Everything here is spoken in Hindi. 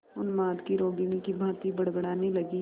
उन्माद की रोगिणी की भांति बड़बड़ाने लगी